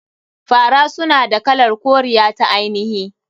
Fara suna da kalar koriya ta ainihi.